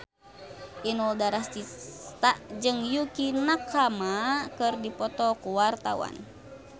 Inul Daratista jeung Yukie Nakama keur dipoto ku wartawan